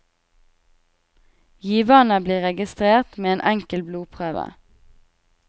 Giverne blir registrert med en enkel blodprøve.